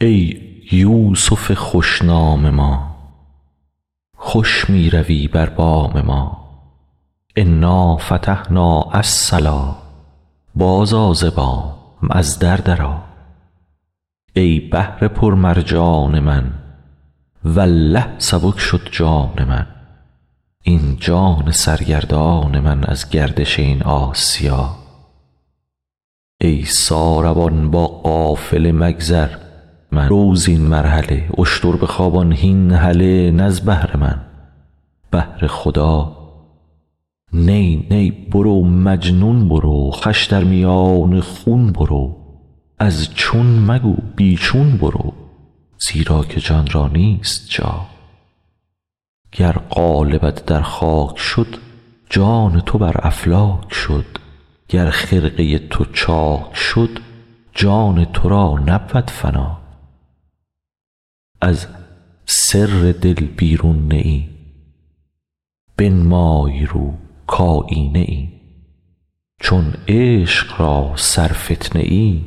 ای یوسف خوش نام ما خوش می روی بر بام ما انا فتحنا الصلا بازآ ز بام از در درآ ای بحر پرمرجان من والله سبک شد جان من این جان سرگردان من از گردش این آسیا ای ساربان با قافله مگذر مرو زین مرحله اشتر بخوابان هین هله نه از بهر من بهر خدا نی نی برو مجنون برو خوش در میان خون برو از چون مگو بی چون برو زیرا که جان را نیست جا گر قالبت در خاک شد جان تو بر افلاک شد گر خرقه تو چاک شد جان تو را نبود فنا از سر دل بیرون نه ای بنمای رو کایینه ای چون عشق را سرفتنه ای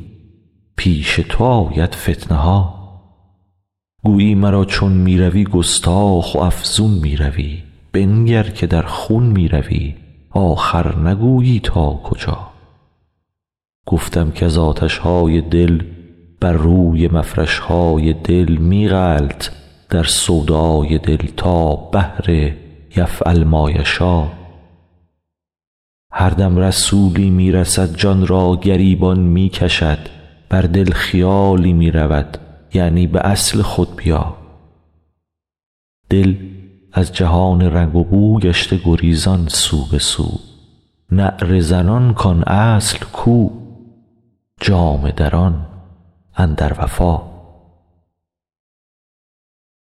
پیش تو آید فتنه ها گویی مرا چون می روی گستاخ و افزون می روی بنگر که در خون می روی آخر نگویی تا کجا گفتم کز آتش های دل بر روی مفرش های دل می غلط در سودای دل تا بحر یفعل ما یشا هر دم رسولی می رسد جان را گریبان می کشد بر دل خیالی می دود یعنی به اصل خود بیا دل از جهان رنگ و بو گشته گریزان سو به سو نعره زنان کان اصل کو جامه دران اندر وفا